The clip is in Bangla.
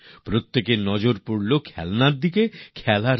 সবার মনোযোগের কেন্দ্রে এখন আর খেলা নয় খেলনা